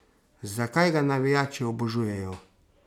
Zakaj ga navijači obožujejo?